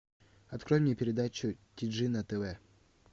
открой мне передачу ти джи на тв